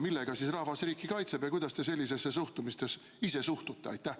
Millega siis rahvas riiki kaitseb ja kuidas te ise sellisesse suhtumisse suhtute?